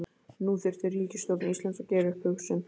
Nú þyrfti ríkisstjórn Íslands að gera upp hug sinn.